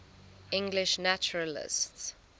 english naturalists